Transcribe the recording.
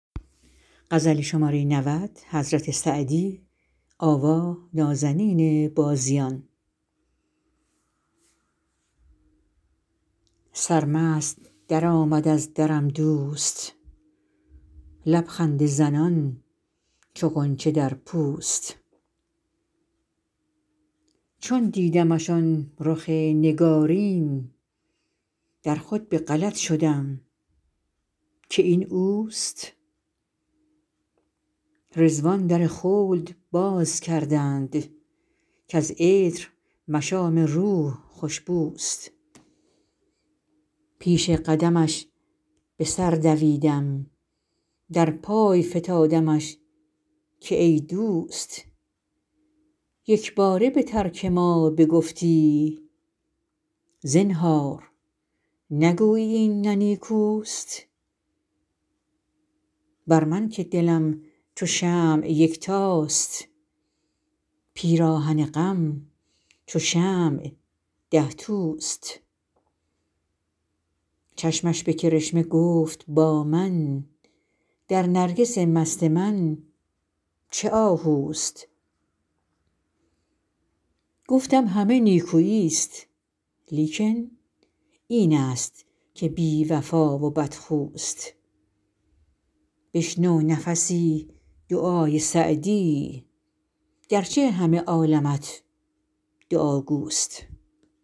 سرمست درآمد از درم دوست لب خنده زنان چو غنچه در پوست چون دیدمش آن رخ نگارین در خود به غلط شدم که این اوست رضوان در خلد باز کردند کز عطر مشام روح خوش بوست پیش قدمش به سر دویدم در پای فتادمش که ای دوست یک باره به ترک ما بگفتی زنهار نگویی این نه نیکوست بر من که دلم چو شمع یکتاست پیراهن غم چو شمع ده توست چشمش به کرشمه گفت با من در نرگس مست من چه آهوست گفتم همه نیکویی ست لیکن این است که بی وفا و بدخوست بشنو نفسی دعای سعدی گر چه همه عالمت دعاگوست